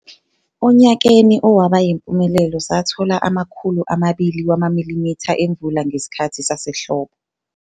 Onyakeni owaba yimpumelelo sathola ama-200 mm emvula ngesikhathi sasehlobo.